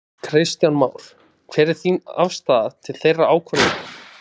Kristján Már: Hver er þín afstaða til þeirrar ákvörðunar?